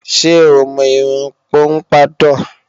Ṣé o mọ irun pọ́mpádọ̀?